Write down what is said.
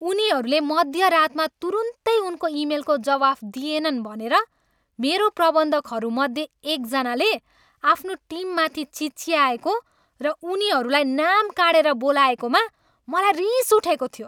उनीहरूले मध्य रातमा तुरुन्तै उनको इमेलको जवाफ दिएनन भनेर मेरो प्रबन्धकहरूमध्ये एक जनाले आफ्नो टिममाथि चिच्याएको र उनीहरूलाई नाम काढेर बोलाएकोमा मलाई रिस उठेको थियो।